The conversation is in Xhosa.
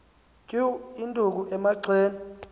tyu induku emagxeni